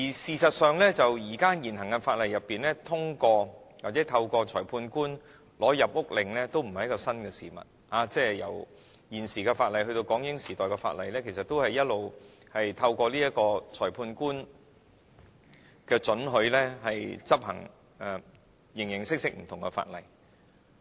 事實上，在現行法例下透過裁判官取得入屋搜查令也不是新的事物，無論現時法例以至港英時代的法例，其實一向均透過裁判官的准許，讓有關人員執行形形色色不同的法例。